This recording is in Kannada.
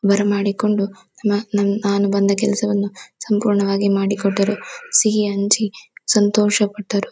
ಬರ ಮಾಡಿಕೊಂಡು ನಾ ನನ್ ನಾನು ಬಂದ ಕೆಲಸವನ್ನು ಸಂಪೂರ್ಣವಾಗಿ ಮಾಡಿಕೊಟ್ಟರು ಸಿಹಿ ಹಂಚಿ ಸಂತೋಷ ಪಟ್ಟರು.